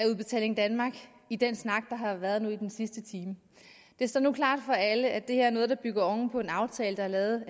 udbetaling danmark i den snak der har været i den sidste time det står nu klart for alle at det her er noget der bygger oven på en aftale der er lavet